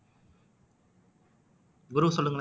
குரு சொல்லுங்களேன்